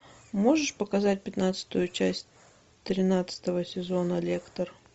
можешь показать пятнадцатую часть тринадцатого сезона лектор